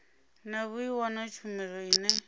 na vhui na tshumelo ine